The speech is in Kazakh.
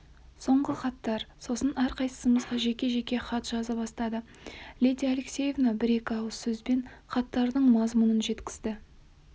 соңғы хаттар сосын әрқайсымызға жеке-жеке хат жаза бастады лидия алексеевна бір-екі ауыз сөзбен хаттардың мазмұнын жеткізді